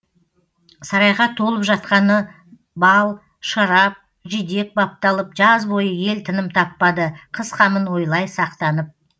сарайға толып жатқаны бал шарап жидек бапталып жаз бойы ел тыным таппады қыс қамын ойлай сақтанып